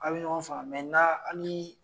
A bi ɲɔgɔn faamu mɛ na anin